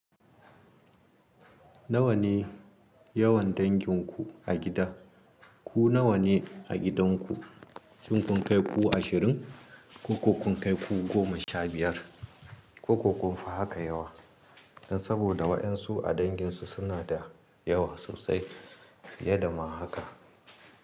Nawa ne yawan danginku a gida? Ku nawa ne a gidanku? Shin kun kai ku ashirin ko kun kai ku goma sha biyar? Ko ko kun fi haka yawa? Don saboda waƴansu a danginsu suna da yawa sosai fiye dama haka.